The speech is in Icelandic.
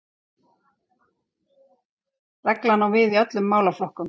Reglan á við í öllum málaflokkum